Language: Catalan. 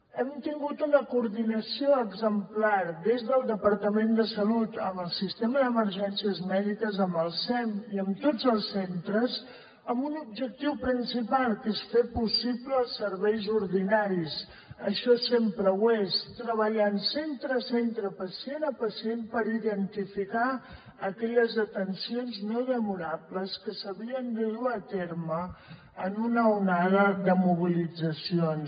hem tingut una coordinació exemplar des del departament de salut amb el sistema d’emergències mèdiques amb el sem i amb tots els centres amb un objectiu principal que és fer possibles els serveis ordinaris això sempre ho és treballant centre a centre pacient a pacient per identificar aquelles atencions no demorables que s’havien de dur a terme en una onada de mobilitzacions